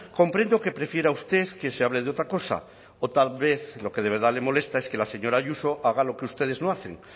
comprendo que prefiera usted que se hable de otra cosa o tal vez lo que de verdad le molesta es que la señora ayuso haga lo que ustedes no hacen